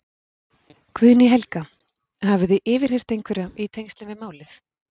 Guðný Helga: Hafið þið yfirheyrt einhverja í tengslum við málið?